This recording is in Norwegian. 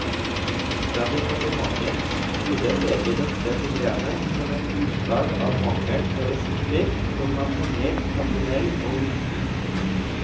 Fra departementets side ser vi dette problemet som et utslag av mangel på ressurser i form av penger, personell og utstyr.